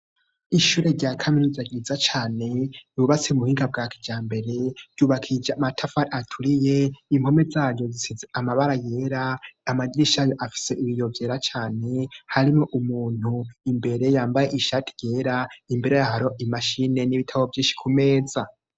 Ishure rya kaminuza ryiza cane ryubatswe mu buhinga bwa kijambere, ryubakishije matafari aturiye, impome zaryo zisize amabara yera, amadirisha yo afise ibiyo vyera cane harimwo umuntu imbere yambaye ishati ryera, imbere yaho hari imashine n'ibitabo vyinshi ku meza.